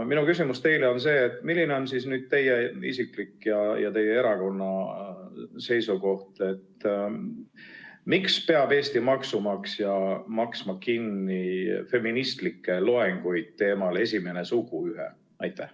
Minu küsimus teile on see: milline on teie isiklik ja teie erakonna seisukoht, miks peab Eesti maksumaksja maksma kinni feministlikke loenguid teemal "Esimene suguühe"?